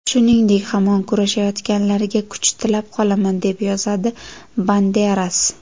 Shuningdek, hamon kurashayotganlarga kuch tilab qolaman”, deb yozadi Banderas.